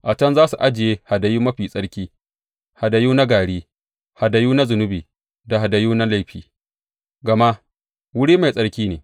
A can za su ajiye hadayu mafi tsarki, hadayu na gari, hadayu na zunubi da hadayu na laifi, gama wuri mai tsarki ne.